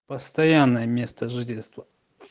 постоянное место жительства